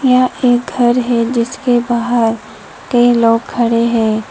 यह एक घर है जिसके बाहर कई लोग खड़े हैं।